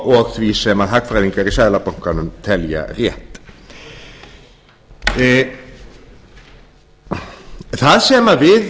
og því sem hagfræðingar í seðlabankanum telja rétt það sem við